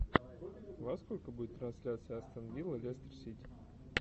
во сколько будет трансляция астон вилла лестер сити